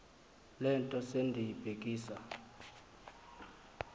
le nto sendiyibhekisa